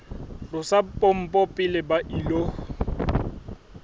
tlosa pompo pele ba ilo